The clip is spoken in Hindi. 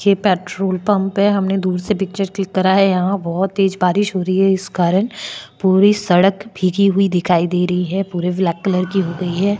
ये पेट्रोल पंप है हमने दूर से पिक्चर क्लिक करा है यहाँ बहुत तेज बारिश हो रही है इस कारण पूरी सड़क भीगी हुई दिखाई दे रही है पूरे ब्लैक कलर की हो गयी है।